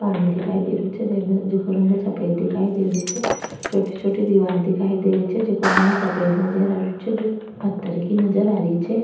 पानी दिखाई दे रो छे जेको रंग सफ़ेद दिखाई दे रो छे छोटी छोटी दिवार दिखाई दे री छे जेको रंग सफ़ेद नजर आ रेहो छे जो पत्थर की नजर आ री छे।